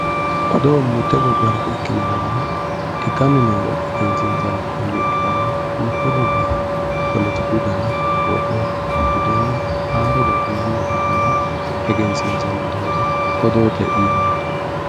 Odoo mite gobbara ikkinorenna ikkanni noore egensiisani hayyo ikkittanna mite gobbaha poletiku danna wodho budenna haarore yanna abbitinore egensiisanni doogo odoote yinanni.